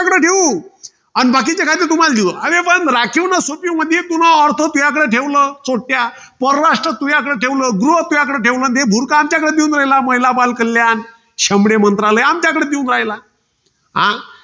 बाकीचे कायदे तुम्हाला देऊ. अरे पण राखीव नसून म्हणजे पुन्हा अर्ध तुयाकडे ठेवलं. परराष्ट्र तुयाकडे ठेवलं, गृह तुयाकडे ठेवलं. अन हे भुर्क आमच्याकडे देऊन राहिलं महिला, बालकल्याण. शेमडे मंत्रालय आमच्याकडे देऊन राहिला. हा?